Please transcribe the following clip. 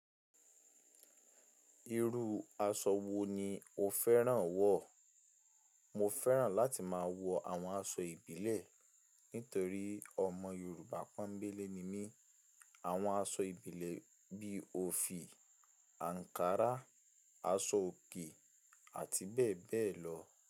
Irú aṣọ wo ni o fẹ́ràn wọ̀? Mo fẹ́ràn láti máa wọ àwọn aṣọ ìbílẹ̀ nítorí ọmọ Yorùbá pọ́nbélé ni mí. Àwọn aṣọ ìbílẹ̀ bí i òfì, ankarà, aṣọ òkè, àti bẹ́ẹ̀ bẹ́ẹ̀ lọ.